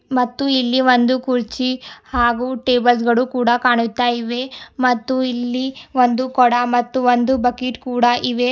ಮತ್ತು ಇಲ್ಲಿ ಒಂದು ಕುರ್ಚಿ ಹಾಗೂ ಟೇಬಲ್ಸ್ ಗಳು ಕೂಡ ಕಾಣುತ್ತಾಯಿವೆ ಮತ್ತು ಇಲ್ಲಿ ಒಂದು ಕೊಡ ಮತ್ತು ಒಂದು ಬಕೆಟ್ ಕೂಡ ಇವೆ.